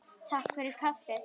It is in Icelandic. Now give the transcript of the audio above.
Takk fyrir kaffið.